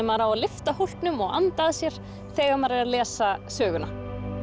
maður á að lyfta hólknum og anda að sér þegar maður les söguna